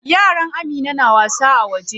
Yaran Amina na wasa a waje.